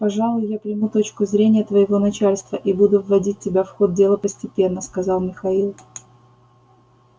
пожалуй я приму точку зрения твоего начальства и буду вводить тебя в ход дела постепенно сказал михаил